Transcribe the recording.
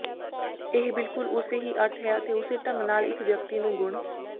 ਇਹ ਬਿਲਕੁਲ ਉਸੇ ਹੀ ਅਰਥ ਹੈ ਅਤੇ ਉਸੇ ਢੰਗ ਨਾਲ ਇੱਕ ਵਿਅਕਤੀ ਨੂੰ ਗੁਣ